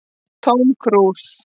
Tóm krús